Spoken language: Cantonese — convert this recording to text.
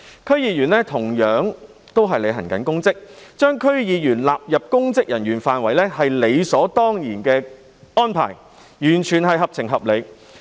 區議員同樣是履行公職，所以把區議員納入公職人員範圍也是理所當然的安排，完全合情合理。